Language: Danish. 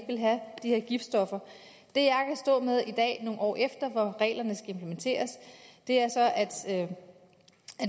ville have de her giftstoffer det jeg står med i dag nogle år efter hvor reglerne skal implementeres er at